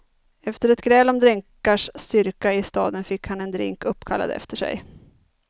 Efter ett gräl om drinkars styrka i staden fick han en drink uppkallad efter sig.